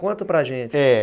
Conta para gente, é.